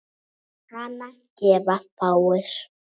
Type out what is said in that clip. Hana gefa fáir.